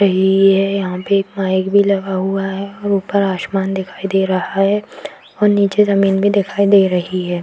रही है यहाँ पे एक माइक भी लगा हुआ है ऊपर आसमान दिखाई दे रहा है और नीचे जमीन भी दिखाई दे रही है ।।